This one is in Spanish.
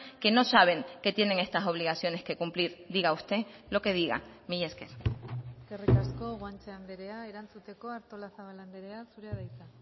que no saben que tienen estas obligaciones que cumplir diga usted lo que diga mila esker eskerrik asko guanche andrea erantzuteko artolazabal andrea zurea da hitza